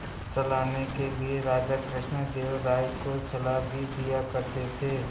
चलाने के लिए राजा कृष्णदेव राय को सलाह भी दिया करते थे